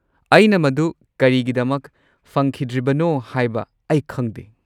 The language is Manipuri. ꯑꯩꯅ ꯃꯗꯨ ꯀꯔꯤꯒꯤꯗꯃꯛ ꯐꯪꯈꯤꯗ꯭ꯔꯤꯕꯅꯣ ꯍꯥꯏꯕ ꯑꯩ ꯈꯪꯗꯦ꯫